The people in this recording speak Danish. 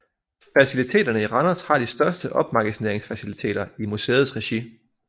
Faciliteterne i Randers har de største opmagasineringsfaciliteter i museets regi